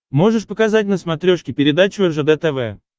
можешь показать на смотрешке передачу ржд тв